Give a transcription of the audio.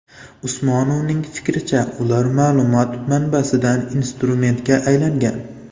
Usmonovning fikricha, ular ma’lumot manbasidan instrumentga aylangan.